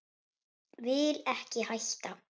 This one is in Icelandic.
Vil ekki hætta.